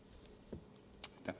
Aitäh!